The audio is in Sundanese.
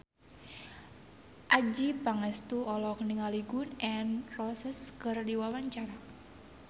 Adjie Pangestu olohok ningali Gun N Roses keur diwawancara